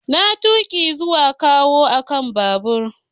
Na tuki zuwa kawo akan babur.